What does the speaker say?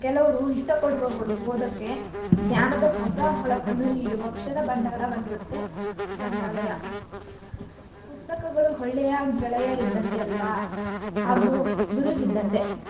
ಕೆಲ್~ ಕೆಲವ್ರು ಇಷ್ಟ ಪಡುವವರೂ ಓದ್ದಕ್ಕೆ ಜ್ಞಾನ ಹೊಸ ಹೊಳಪನ್ನು ನೀಡುವ ಅಕ್ಷರ ಭಂಡಾರವಾಗಿರುತ್ತೆ ಗ್ರಂಥಾಲಯ, ಪುಸ್ತಕಗಳು ಹೊಳ್ಳೆಯ ಗೆಳೆಯರಿದ್ದಂತೆ ಅಲ್ವ ಹಾಗು ಗುರು ಇದ್ದಂತೆ.